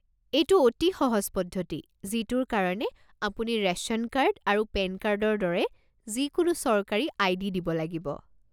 এইটো অতি সহজ পদ্ধতি যিটোৰ কাৰণে আপুনি ৰেশ্যন কাৰ্ড আৰু পেন কাৰ্ডৰ দৰে যিকোনো চৰকাৰী আই.ডি. দিব লাগিব।